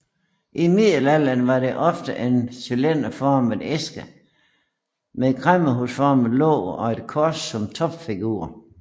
I middelalderen var det ofte en cylinderformet æske med kræmmerhusformet låg og et kors som topfigur